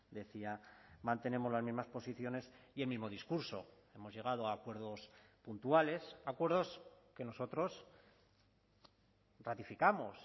decía mantenemos las mismas posiciones y el mismo discurso hemos llegado a acuerdos puntuales acuerdos que nosotros ratificamos